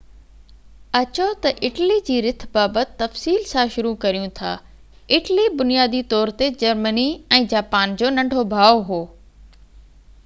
اچو تہ اٽلي جي رٿ بابت تفصيل سان شروع ڪريون ٿا اٽلي بنيادي طور تي جرمني ۽ جاپان جو ننڍو ڀاءُ هو